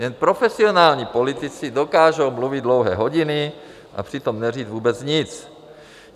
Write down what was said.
Jen profesionální politici dokážou mluvit dlouhé hodiny a přitom neříct vůbec nic.